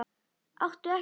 Áttu ekkert pils?